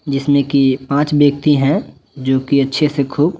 जिसमे की पांच व्यक्ति हैं जोकि अच्छे से खूब--